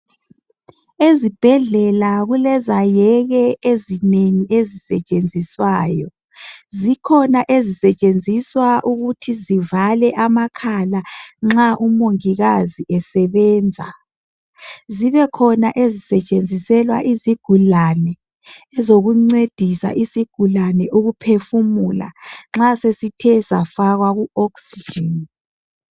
Ezibhendlela kulezayeke ezinengi ezitshiyeneyo. Zikhona ezisetshenziswa ukuthi zivale amakhala nxa umongikazi esebenza. Zibe khona ezisetshenziselwa izigulane ezokuncedisa isigulane ukuphefumula nxa sesithe safakwa ku Oxygen